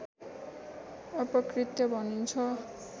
अपकृत्य भनिन्छ